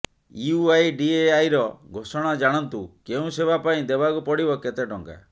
ୟୁଆଇଡିଏଆଇର ଘୋଷଣା ଜାଣନ୍ତୁ କେଉଁ ସେବା ପାଇଁ ଦେବାକୁ ପଡିବ କେତେ ଟଙ୍କା